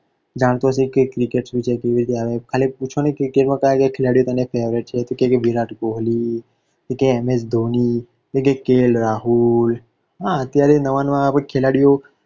જાણે છે કે cricket શું છે, કેવી રીતે આવે, ખાલી પૂછો ને કે cricket માં કયા ખેલાડીઓ તને favourite છે તો કહશે કે Virat Kohli, M. S. Dhoni, K. L. Rahul, હા અત્યારે નવા નવા ખેલાડીઓ